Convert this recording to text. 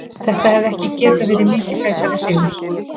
Þetta hefði ekki getað verið mikið sætari sigur.